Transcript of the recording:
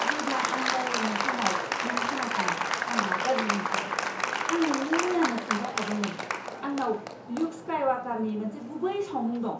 जेब्ला आं रायज्लायनाय समाव नों खोनास'ङा आं रागा जोंनो ओंखारो! आं नोंनो मैयानो खिन्थाखादोंमोन आंनाव ल्युक स्काइवाकारनि मोनसे गुबै सावमुं दं।